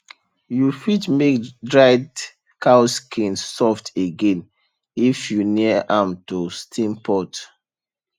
you fit make dried cow skin soft again if you near am to steam pot